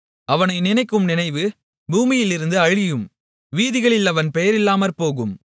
அவனை நினைக்கும் நினைவு பூமியிலிருந்து அழியும் வீதிகளில் அவன் பெயரில்லாமற்போகும்